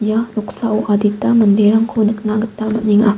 ia noksao adita manderangko nikna gita man·enga.